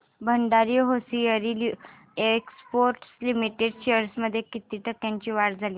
Bhandari hosiery exports limited shares मध्ये किती टक्क्यांची वाढ झाली